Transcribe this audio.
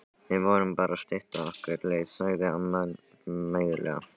Við vorum bara að stytta okkur leið sagði amma mæðulega.